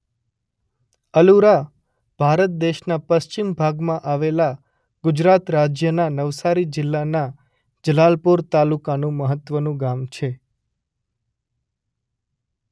અલુરા ભારત દેશના પશ્ચિમ ભાગમાં આવેલા ગુજરાત રાજ્યના નવસારી જિલ્લાના જલાલપોર તાલુકાનું મહત્વનું ગામ છે.